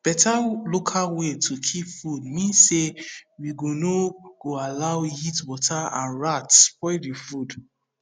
better local way to keep food mean say we go no go allow heatwater and rats spoil the food